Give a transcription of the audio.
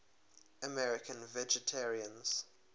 american vegetarians